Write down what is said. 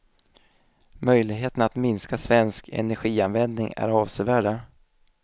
Möjligheterna att minska svensk energianvändning är avsevärda.